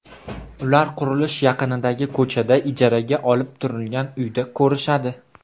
Ular qurilish yaqinidagi ko‘chada, ijaraga olib turilgan uyda ko‘rishadi.